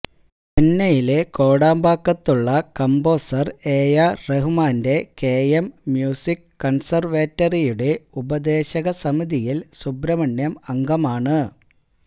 ചെന്നൈയിലെ കോടമ്പാക്കത്തുള്ള composer A R റഹ്മാന്റെ കെഎം മ്യൂസിക് കൺസർവേറ്ററിയുടെ ഉപദേശക സമിതിയിൽ സുബ്രഹ്മണ്യം അംഗമാണ്